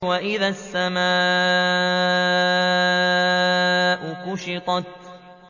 وَإِذَا السَّمَاءُ كُشِطَتْ